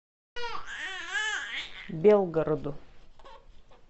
белгороду